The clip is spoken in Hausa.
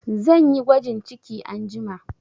Zan yi gwajin ciki anjima